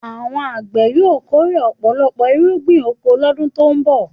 Àwọn àgbẹ̀ yóò kórè ọ̀pọ̀lọpọ̀ irúgbìn oko lọ́dún tó ń bọ̀.